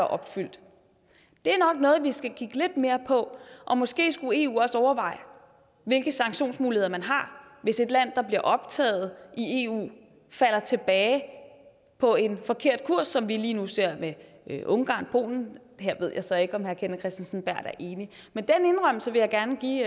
opfyldt er nok noget vi skal kigge lidt mere på og måske skulle eu også overveje hvilke sanktionsmuligheder man har hvis et land der bliver optaget i eu falder tilbage på en forkert kurs som vi lige nu ser med ungarn og polen her ved jeg så ikke om herre kenneth kristensen berth er enig men den indrømmelse vil jeg gerne give